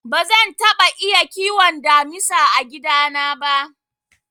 Bazan taɓa iya kiwon damisa a gida na ba.